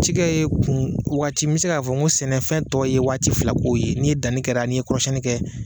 Cikɛ ye kun waati me se k'a fɔ ko sɛnɛfɛn tɔ ye waati fila kow ye, n'i ye danni kɛra n'i ye kɔrɔsiyɛnni kɛ